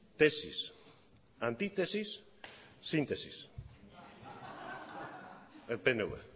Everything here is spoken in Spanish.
tesis antítesis síntesis el pnv